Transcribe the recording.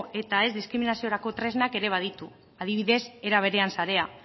eta ez diskriminaziorako tresnak ere baditu adibidez eraberean sarea